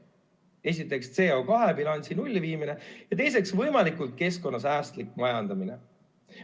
Esiteks, CO2-bilansi nulli viimine, ja teiseks, võimalikult keskkonnasäästlik majandamine.